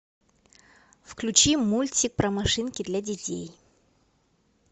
включи мультик про машинки для детей